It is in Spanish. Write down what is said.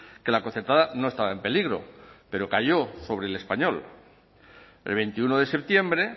que la concertada no estaba en peligro pero calló sobre el español el veintiuno de septiembre